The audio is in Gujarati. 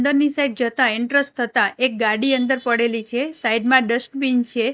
અંદરની સાઇડ જતા એન્ટ્રસ થતા એક ગાડી અંદર પડેલી છે સાઇડ મા ડસ્ટબિન છે.